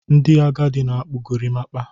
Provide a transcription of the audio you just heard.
Ndị agadi na akpu Gorimpa